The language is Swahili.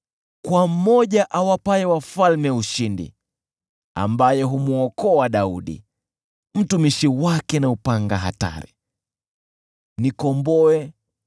kwa Yule awapaye wafalme ushindi, ambaye humwokoa Daudi, mtumishi wake kutokana na upanga hatari.